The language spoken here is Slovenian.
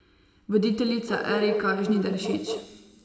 Voditeljica Erika Žnidaršič.